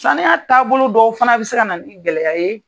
Saniya taabolo dƆw fana bɛ se ka na ni gɛlɛya ye